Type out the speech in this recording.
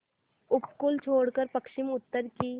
उपकूल छोड़कर पश्चिमउत्तर की